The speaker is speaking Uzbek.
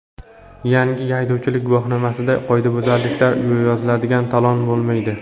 Yangi haydovchilik guvohnomasida qoidabuzarliklar yoziladigan talon bo‘lmaydi.